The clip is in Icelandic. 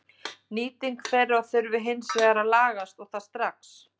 Nýting þeirra þurfi hins vegar að lagast og það strax.